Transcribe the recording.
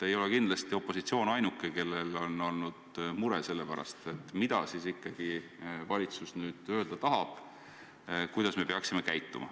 Ei ole kindlasti opositsioon ainuke, kes on olnud mures, mida ikkagi valitsus nüüd öelda tahab, kuidas me peaksime käituma.